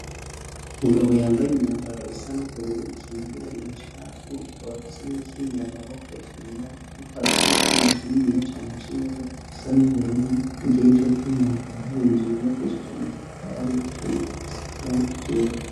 Umugabo yambaye imyambaro isa n'ubururu ikingira ibicafu akaba abafise n'ibikingira amaboko vyera, ariko arakora icumakaininiya cane c'imodoko gisa n'ubururu igiae ico cumakaba harinzue bibagesheje matafari aturiye gisiziranga ikera.